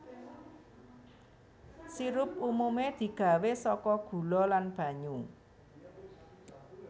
Sirup umumé digawé saka gula lan banyu